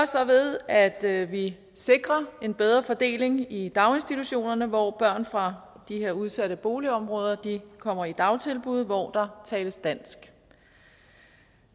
så ved at at vi sikrer en bedre fordeling i daginstitutionerne hvor børn fra de her udsatte boligområder kommer i dagtilbud hvor der tales dansk